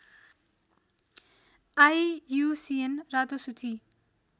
IUCN रातो सूची